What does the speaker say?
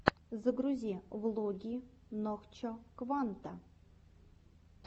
загрузи влоги нохчо кванта